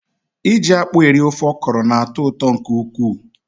Iji akpụ eri ofe ọkọrọ na-atọ ụtọ nke ukwuu.